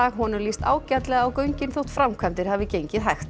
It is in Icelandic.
honum líst ágætlega á göngin þótt framkvæmdir hafi gengið hægt